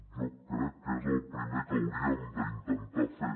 jo crec que és el primer que hauríem d’intentar fer